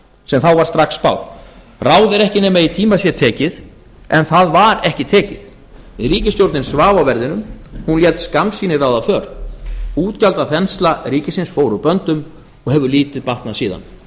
sem þá var strax spáð ráð er ekki nema í tíma sé tekið en það var ekki tekið ríkisstjórnin svaf á verðinum hún lét skammsýni ráða för útgjaldaþensla ríkisins fór úr böndum og hefur lítið batnað síðan